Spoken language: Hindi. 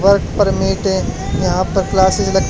और परमिट है यहां पर क्लासेस लग--